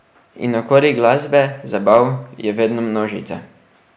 In okoli glasbe, zabav, je vedno množica.